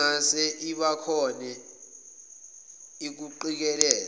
nengase ibakhone ukuqikelela